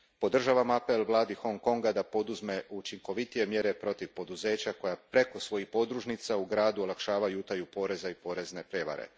Podržavam apel vladi Hong Konga da poduzme učinkovitije mjere protiv poduzeća koja preko svojih podružnica u gradu olakšavaju utaju poreza i porezne prijevare.